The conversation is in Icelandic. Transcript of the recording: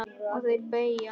Og þeirra beggja.